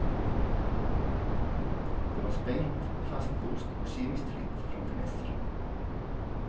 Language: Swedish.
Det var spänt, fastlåst och kemiskt fritt från finesser.